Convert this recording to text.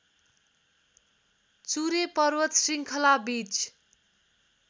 चुरे पर्वत श्रृङ्खलाबीच